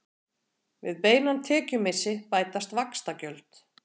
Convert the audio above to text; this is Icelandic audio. Við beinan tekjumissi bætast vaxtagjöld.